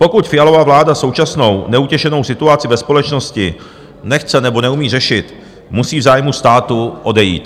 Pokud Fialova vláda současnou neutěšenou situaci ve společnosti nechce nebo neumí řešit, musí v zájmu státu odejít.